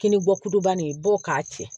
Kinin bɔ kuba in bɔ k'a cɛ